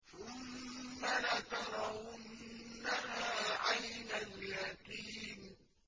ثُمَّ لَتَرَوُنَّهَا عَيْنَ الْيَقِينِ